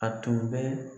A tun bɛ